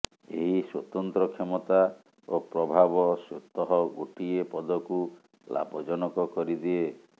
ଏହି ସ୍ୱତନ୍ତ୍ର କ୍ଷମତା ଓ ପ୍ରଭାବ ସ୍ୱତଃ ଗୋଟିଏ ପଦକୁ ଲାଭଜନକ କରିଦିଏ